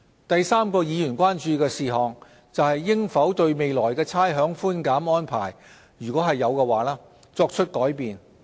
第三個議員關注事項，是應否對未來的差餉寬減安排作出改變。